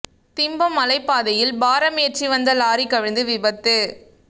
திம்பம் மலைப் பாதையில் பாரம் ஏற்றி வந்த லாரி கவிழ்ந்து விபத்து